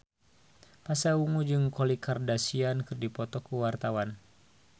Pasha Ungu jeung Khloe Kardashian keur dipoto ku wartawan